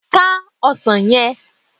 Ká ọsàn yẹ!